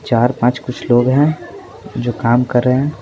चार पांच कुछ लोग हैं जो काम कर रहे हैं।